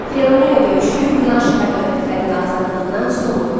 Xeyronea döyüşü Yunan şəhər dövlətlərinin azadlığına son qoydu.